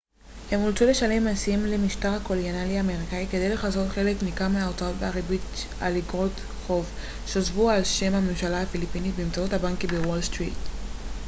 הם אולצו לשלם מסים למשטר הקולוניאלי האמריקני כדי לכסות חלק ניכר מההוצאות ומהריבית על איגרות חוב שהוסבו על שם הממשלה הפיליפינית באמצעות הבנקים בוול סטריט